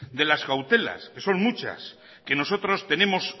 de las cautelas que son muchas que nosotros tenemos